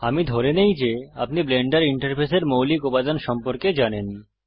আমি ধরে নেই যে আপনি ব্লেন্ডার ইন্টারফেসের মৌলিক উপাদান সম্পর্কে জানেন